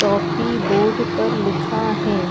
टॉपी board पर लिखा हैं।